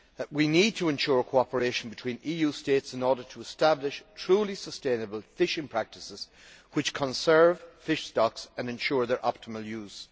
We need to ensure cooperation between EU states in order to establish truly sustainable fishing practices which conserve fish stocks and ensure their optimal use.